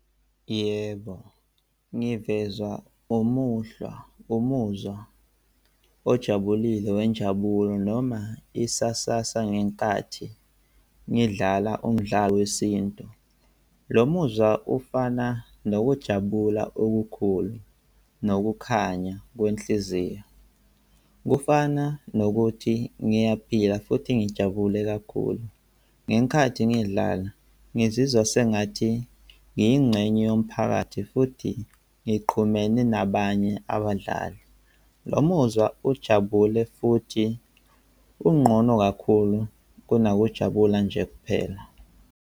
Yebo, ngivezwa umuhlwa, umuzwa ojabulile wenjabulo noma isasasa ngenkathi ngidlala umdlalo wesintu. Lo muzwa ufana nokujabula okukhulu nokukhanya kwenhliziyo. Kufana nokuthi ngiyaphila futhi ngijabule kakhulu. Ngenkathi ngidlala ngizizwa sengathi ngiyingxenye yomphakathi futhi ngixhumene nabanye abadlali. Lo muzwa ujabule futhi unqono kakhulu kunokujabula nje kuphela.